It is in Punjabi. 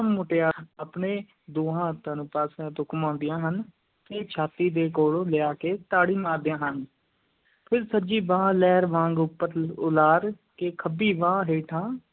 ਮੁਟਿਆਰਾਂ ਆਪਣੇ ਦੋਹਾਂ ਹੱਥਾਂ ਨੂੰ ਪਾਸਿਆਂ ਤੋਂ ਘੁਮਾਉਂਦੀਆਂ ਹਨ ਤੇ ਛਾਤੀ ਦੇ ਕੋਲ੍ਹ ਲਿਆ ਕੇ ਤਾੜੀ ਮਾਰਦੀਆਂ ਹਨ, ਫਿਰ ਸੱਜੀ ਬਾਂਹ ਲਹਿਰ ਵਾਂਗ ਉੱਪਰ ਉਲਾਰ ਕੇ ਖੱਬੀ ਬਾਂਹ ਹੇਠਾਂ